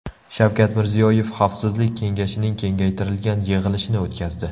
Shavkat Mirziyoyev Xavfsizlik kengashining kengaytirilgan yig‘ilishini o‘tkazdi.